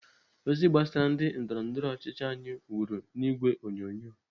Ozi gbasara ndị ndọrọndọrọ ọchịchị anyi wuru n'ìgwè onyonyo.